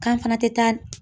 K'an fana tɛ taa